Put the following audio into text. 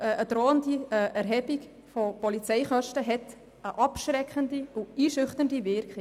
Eine drohende Erhebung von Polizeikosten hat eine abschreckende und einschüchternde Wirkung.